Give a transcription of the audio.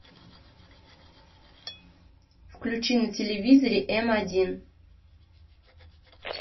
включи на телевизоре м один